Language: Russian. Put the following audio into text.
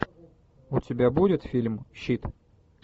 у тебя будет фильм щит